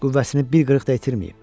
Qüvvəsini bir qırıq da itirməyib.